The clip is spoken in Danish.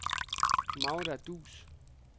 Magda Duus